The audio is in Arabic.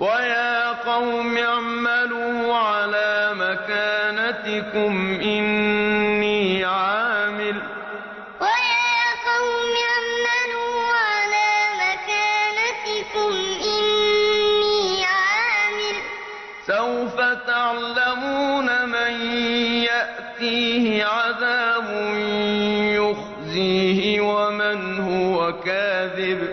وَيَا قَوْمِ اعْمَلُوا عَلَىٰ مَكَانَتِكُمْ إِنِّي عَامِلٌ ۖ سَوْفَ تَعْلَمُونَ مَن يَأْتِيهِ عَذَابٌ يُخْزِيهِ وَمَنْ هُوَ كَاذِبٌ ۖ